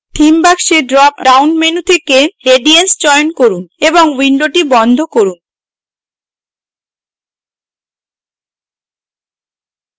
theme box dropdown menu থেকে radiance চয়ন from এবং window বন্ধ from